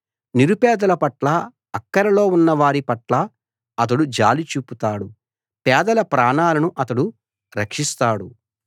నిరుపేదల పట్లా అక్కరలో ఉన్నవారి పట్లా అతడు జాలి చూపుతాడు పేదల ప్రాణాలను అతడు రక్షిస్తాడు